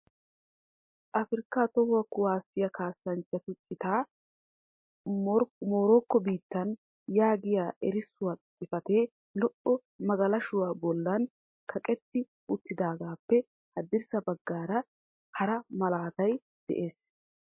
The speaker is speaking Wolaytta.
'Afrika toho kuwassiya kassanchchatu cita, Morokko biittan' yaagiya erissuwaa xifatee lo"o magalashshuwa bollan kaqqeti uttidaagappe haddirssa baggan hara malaatay de'ees.